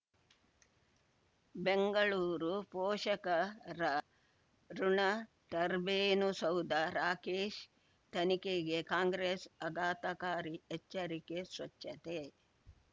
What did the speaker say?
ಬೆಂಗಳೂರು ಪೋಷಕರಋಣ ಟರ್ಬೈನು ಸೌಧ ರಾಕೇಶ್ ತನಿಖೆಗೆ ಕಾಂಗ್ರೆಸ್ ಆಘಾತಕಾರಿ ಎಚ್ಚರಿಕೆ ಸ್ವಚ್ಛತೆ